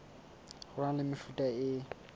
ho na le mefuta e